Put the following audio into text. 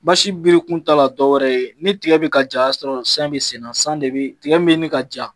biri kun t'a la dɔwɛrɛ ye, ni tigɛ bi ka ja o ya sɔrɔ san be sen na san de bi tigɛ min be ɲini ka ja